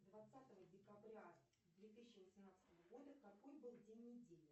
двадцатого декабря две тысячи восемнадцатого года какой был день недели